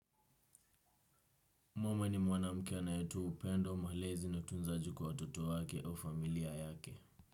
Mama ni mwanamke anayetua upendo malezi na utunzaji kwa watoto wake au familia yake.